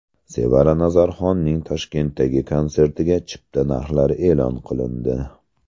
Sevara Nazarxonning Toshkentdagi konsertiga chipta narxlari e’lon qilindi.